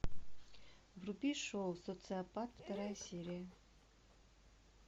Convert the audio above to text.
вруби шоу социопат вторая серия